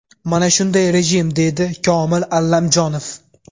Mana shunday rejim”, deydi Komil Allamjonov.